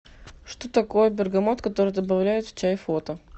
что такое бергамот который добавляют в чай фото